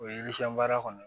O ye baara kɔni ye